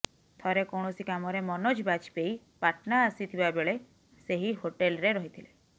ଥରେ କୌଣସି କାମରେ ମନୋଜ ବାଜପେୟୀ ପାଟନା ଆସିଥିବା ବେଳେ ସେହି ହୋଟେଲ୍ରେ ରହିଥିଲେ